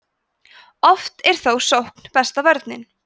oft er þó sókn besta vörnin